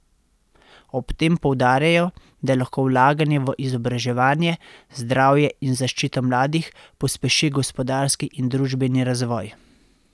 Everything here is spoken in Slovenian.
Ob tem poudarjajo, da lahko vlaganje v izobraževanje, zdravje in zaščito mladih pospeši gospodarski in družbeni razvoj.